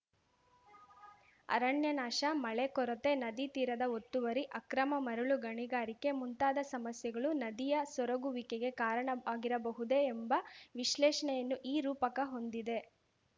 ಅರಣ್ಯ ನಾಶ ಮಳೆ ಕೊರತೆ ನದಿ ತೀರದ ಒತ್ತುವರಿ ಅಕ್ರಮ ಮರಳು ಗಣಿಗಾರಿಕೆ ಮುಂತಾದ ಸಮಸ್ಯೆಗಳು ನದಿಯ ಸೊರಗುವಿಕೆಗೆ ಕಾರಣವಿರಬಹುದೇ ಎಂಬ ವಿಶ್ಲೇಷಣೆಯನ್ನು ಈ ರೂಪಕ ಹೊಂದಿದೆ